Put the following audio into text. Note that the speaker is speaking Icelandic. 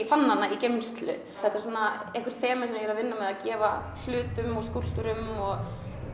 fann hana í geymslu þetta eru einhver þemu sem ég er að vinna með að gefa hlutum og skúlptúrum og